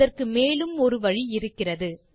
அதற்கு மேலும் ஒரு வழி இருக்கிறது